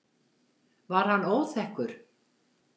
Var hann óþekkur?